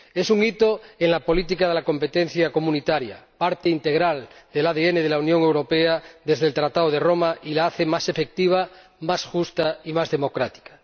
Es un hito en la política de la competencia de la Unión —parte integral del ADN de la Unión Europea desde el Tratado de Roma— y la hace más efectiva, más justa y más democrática.